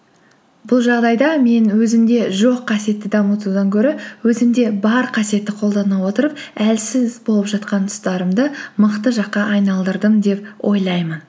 бұл жағдайда мен өзімде жоқ қасиетті дамытудан гөрі өзімде бар қасиетті қолдана отырып әлсіз болып жатқан тұстарымды мықты жаққа айналдырдым деп ойлаймын